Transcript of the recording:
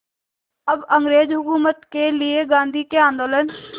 अब अंग्रेज़ हुकूमत के लिए गांधी के आंदोलन